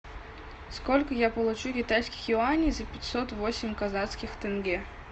сколько я получу китайских юаней за пятьсот восемь казахских тенге